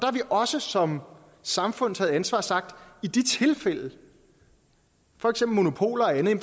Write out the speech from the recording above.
også som samfund taget ansvar og sagt at i de tilfælde for eksempel monopoler og andet er